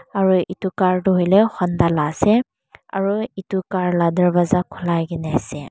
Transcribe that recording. aro etu car toh hoilae honda la asae aro etu car la dorwasa kolai kina asae.